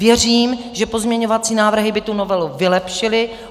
Věřím, že pozměňovací návrhy by tu novelu vylepšily.